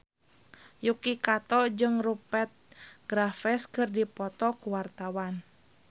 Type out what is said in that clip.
Yuki Kato jeung Rupert Graves keur dipoto ku wartawan